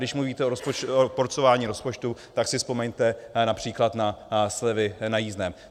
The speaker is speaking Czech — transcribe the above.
Když mluvíte o porcování rozpočtu, tak si vzpomeňte například na slevy na jízdném.